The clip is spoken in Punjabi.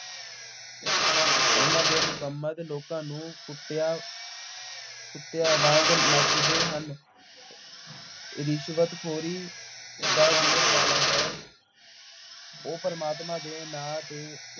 ਉਨ੍ਹਾਂ ਦੇ ਲੋਕਾਂ ਨੂੰ ਕੁੱਟਿਆ ਕੁੱਤਿਆਂ ਵਾਂਗ ਨੱਚਦੇ ਹਨ। ਰਿਸ਼ਵਤਖੋਰੀ ਦਾ ਬੋਲਬਾਲਾ ਹੈ। ਉਹ ਪ੍ਰਮਾਤਮਾ ਦੇ ਨਾਂ ਤੇ